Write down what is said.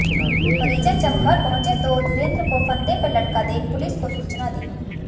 परिजन जब घर पहुंचे तो धीरेंद्र को फंदे पर लटका देख पुलिस को सूचना दी